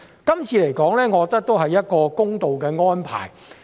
這次修例，我認為是公道的安排。